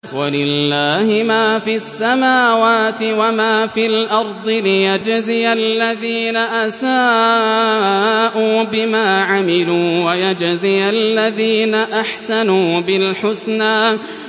وَلِلَّهِ مَا فِي السَّمَاوَاتِ وَمَا فِي الْأَرْضِ لِيَجْزِيَ الَّذِينَ أَسَاءُوا بِمَا عَمِلُوا وَيَجْزِيَ الَّذِينَ أَحْسَنُوا بِالْحُسْنَى